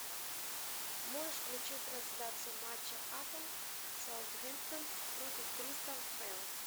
можешь включить трансляцию матча апл саутгемптон против кристал пэлас